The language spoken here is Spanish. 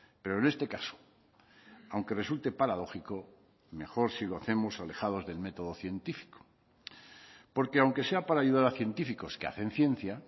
pero en este caso aunque resulte paradójico mejor si lo hacemos alejados del método científico porque aunque sea para ayudar a científicos que hacen ciencia